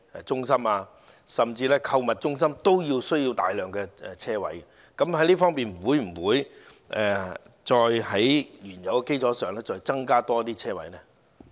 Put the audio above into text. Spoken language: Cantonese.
其實，購物中心也需要大量車位，就這方面，當局會否在原有基礎上再增設車位？